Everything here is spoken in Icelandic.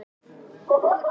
En hann varð að passa sig.